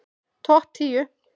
Topp tíu